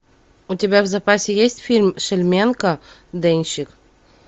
у тебя в запасе есть фильм шельменко денщик